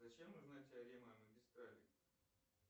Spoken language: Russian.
зачем нужна теорема о магистрали